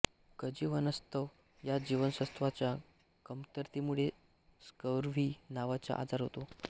कजीवनसत्त्व या जीवनसत्वाच्या कमतरतेमुळे स्कर्व्ही नावाचा आजार होतो